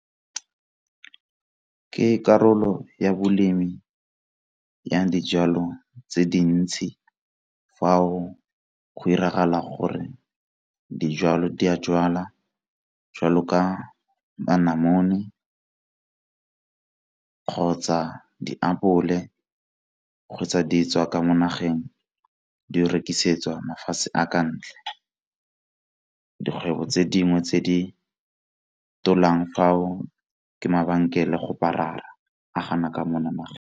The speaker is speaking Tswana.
Ke karolo ya bolemi ya dijalo tse dintsi fao go 'iragala gore dijalo di a jwalo jwala ka namoni kgotsa diapole kgotsa di tswa ka mo nageng di rekisetswa mafatshe a ka ntle. Dikgwebo tse dingwe tse di fao ke mabenkele go .